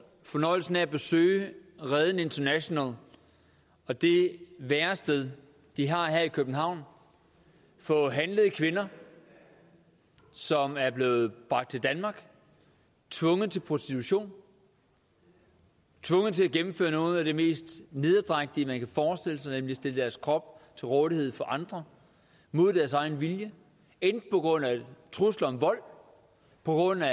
fornøjelsen af at besøge reden international og det værested de har her i københavn for handlede kvinder som er blevet bragt til danmark tvunget til prostitution tvunget til at gennemføre noget af det mest nederdrægtige man kan forestille sig nemlig at stille deres krop til rådighed for andre mod deres egen vilje enten på grund af trusler om vold på grund af